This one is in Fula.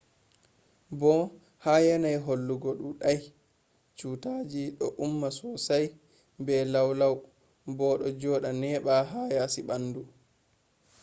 bo ha yanayi hulugo dudai cutaji do umma sosai be laulau bo do joda neba ha yasi bandu